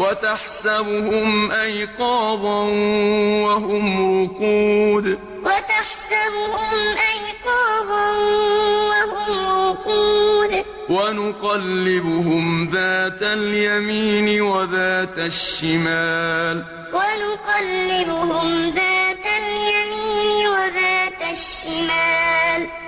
وَتَحْسَبُهُمْ أَيْقَاظًا وَهُمْ رُقُودٌ ۚ وَنُقَلِّبُهُمْ ذَاتَ الْيَمِينِ وَذَاتَ الشِّمَالِ ۖ